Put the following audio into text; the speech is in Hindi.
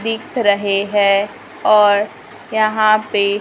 दिख रहे हैं और यहां पे--